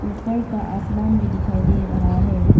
ऊपर का आसमान भी दिखाई दे रहा है।